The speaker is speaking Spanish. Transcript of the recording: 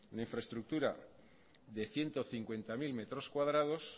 una infraestructura de ciento cincuenta mil metros cuadrados